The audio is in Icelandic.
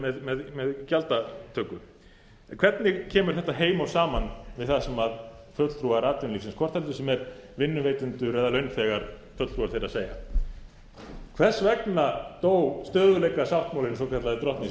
með gjaldtöku hvernig kemur þetta heim og saman við það sem fulltrúar atvinnulífsins hvort sem heldur sem fulltrúar vinnuveitenda eða launþega segja hvers vegna dó stöðugleikasáttmálinn svokallaði drottni